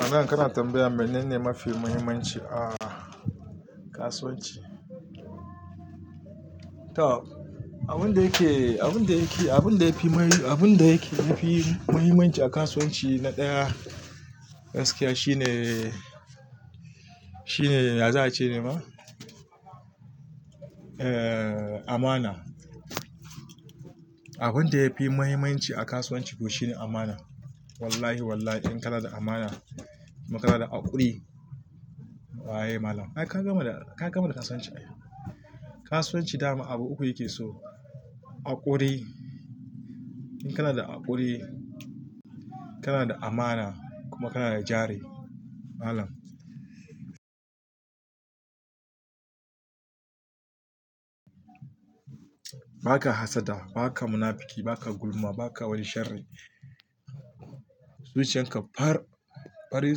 A nan kana tambayan menene mafi mahimmanci a kasuwanci? To abun da yake, abun da yake, abun da ya fi ma, abin da yafi mahimmanci a kasuwanci na ɗaya gaskiya shine, shine, ya za a ce ne ma? Eh, amana. Abun da yafi mahimmanci a kasuwanci to shine amana. Wallahi wallahi in kana da amana kuma kana da haƙuri, waye malam? Ai ka gama da, ka gama da kasuwanci ai. Kasuwanci dama abu uku yake so. Haƙuri, in kana da haƙuri, kana da amana kuma kana da jari malam. Ba ka hassada, ba ka munafiki, ba ka gulma, ba ka wani shari. Zuciyan ka far, fari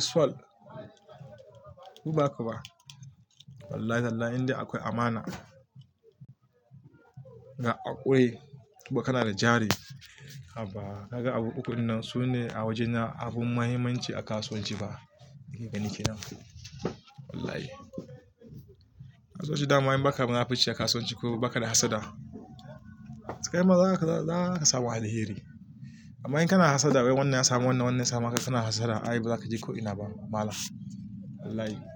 sual, in ba haka ba. Wallahi tallahi inda akwai amana ga haƙuri kuma kana da jari, habaa kaga abu uku dinnan su ne a wajena abun mahimmanci a kasuwanci ba, ni ke gani kenan. Wallahi. Kasuwanci dama in baka munafunci a kasuwanci ko baka da hassada, sai ma za ka, za ka samu alheri. Amma in kana hassada wai wannan ya samu wannan, wannan ya samu hakan, kana hassada ai ba za ka je ko ina ba malam. Wallahi.